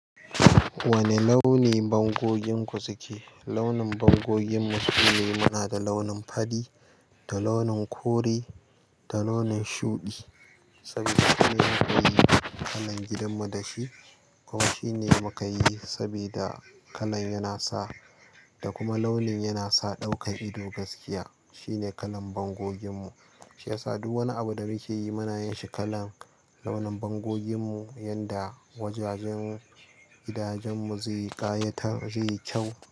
Wane launi bangogin ku suke? Launin bangoginmu sune muna da launin fari da launin kore da launin shuɗi. Saboda shine muka yi kalan gidanmu da shi. Kuma shine muka yi saboda kalan yana sa da kuma launin yana sa ɗaukan ido gaskiya. Shine kalan bango ginmu. Shi ya sa duk wani abu da muke yi muna yin shi kalan launin bangoginmu, yanda wajajen gidajenmu zai ƙayatar, zai yi kyau.